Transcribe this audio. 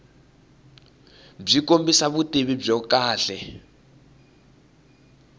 byi kombisa vutivi byo kahle